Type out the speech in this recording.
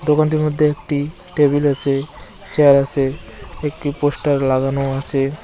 দোকানটির মধ্যে একটি টেবিল আছে চেয়ার আছে একটি পোস্টার লাগানো আছে।